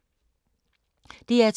DR2